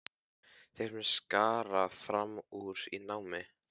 Þeir sem skara fram úr í námi.